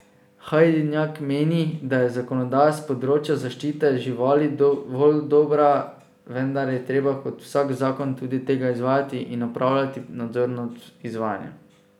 Hajdinjak meni, da je zakonodaja s področja zaščite živali dovolj dobra, vendar je treba kot vsak zakon tudi tega izvajati in opravljati nadzor nad izvajanjem.